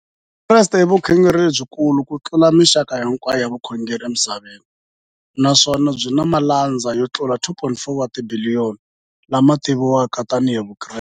Vukreste i vukhongeri lebyi kulu kutlula mixaka hinkwayo ya vukhongeri emisaveni, naswona byi na malandza yo tlula 2.4 wa tibiliyoni, la ma tiviwaka tani hi Vakreste.